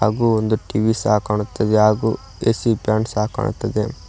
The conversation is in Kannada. ಹಾಗು ಒಂದು ಟಿವಿ ಸಹ ಕಾಣುತ್ತಿದೆ ಹಾಗು ಎ_ಸಿ ಫ್ಯಾನ್ ಸಹ ಕಾಣುತ್ತಿದೆ.